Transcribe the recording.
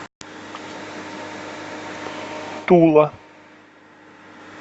тула